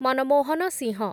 Manmohan Singh